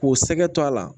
K'u sɛgɛ to a la